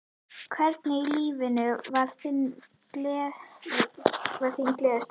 Hvenær í lífinu var þín gleðistund?